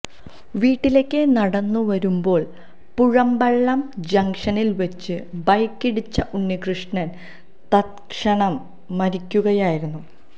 വീട്ടിലേക്ക് നടന്നുവരുമ്പോൾ പുഴമ്പള്ളം ജങ്ഷനിൽ വെച്ച് ബൈക്കിടിച്ച ഉണ്ണിക്കൃഷ്ണൻ തത്ക്ഷണം മരിക്കുകയായിരുന്നു